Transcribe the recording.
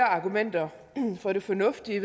argumenter for det fornuftige i